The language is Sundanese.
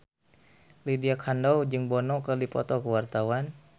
Lydia Kandou jeung Bono keur dipoto ku wartawan